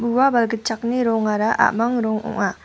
ua balgitchakni rongara a·mang rong ong·a.